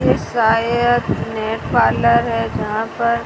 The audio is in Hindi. ये शायद नेट पार्लर है जहां पर--